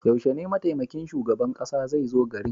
Yaushe ne mataimakin shugaban kasa zai zo garin?